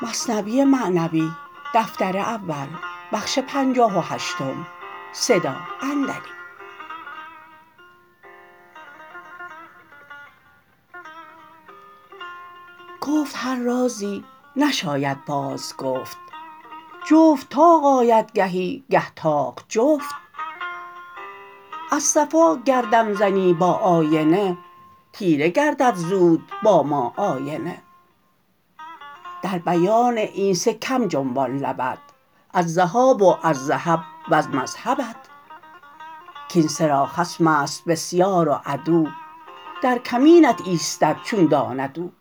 گفت هر رازی نشاید باز گفت جفت طاق آید گهی گه طاق جفت از صفا گر دم زنی با آینه تیره گردد زود با ما آینه در بیان این سه کم جنبان لبت از ذهاب و از ذهب وز مذهبت کین سه را خصمست بسیار و عدو در کمینت ایستد چون داند او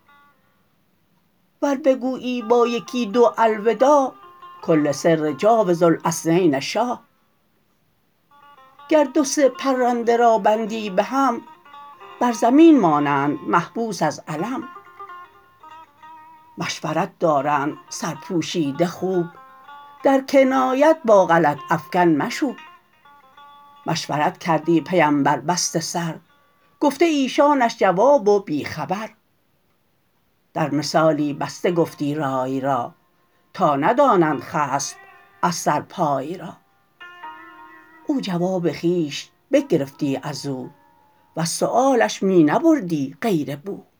ور بگویی با یکی دو الوداع کل سر جاوز الاثنین شاع گر دو سه پرنده را بندی بهم بر زمین مانند محبوس از الم مشورت دارند سرپوشیده خوب در کنایت با غلط افکن مشوب مشورت کردی پیمبر بسته سر گفته ایشانش جواب و بی خبر در مثالی بسته گفتی رای را تا ندانند خصم از سر پای را او جواب خویش بگرفتی ازو وز سؤالش می نبردی غیر بو